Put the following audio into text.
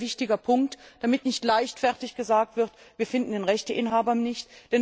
Das ist ein sehr wichtiger Punkt, damit nicht leichtfertig gesagt wird Wir finden den Rechteinhaber nicht.